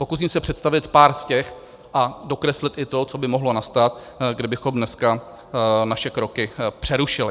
Pokusím se představit pár z těch a dokreslit i to, co by mohlo nastat, kdybychom dneska naše kroky přerušili.